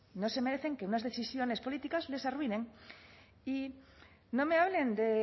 no se merecen que unas decisiones políticas les arruinen y no me hablen de